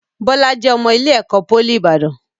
Bọlá jẹ́ ọmọ ilé ẹ̀kọ́ pólì Ibadan.